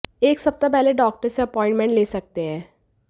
एक सप्ताह पहले डाक्टर से अपाइंटमेंट ले सकते हैं